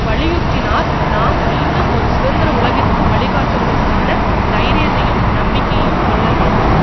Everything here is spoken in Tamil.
வலியுறுத்தினார்நாம் மீண்டும் ஒரு சுதந்திர உலகிற்கு வழிகாட்டுவதற்கான தைரியத்தையும் நம்பிக்கையையும் கொள்ளவேண்டும்